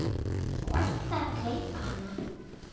Þú ætlaðir að gleypa hana.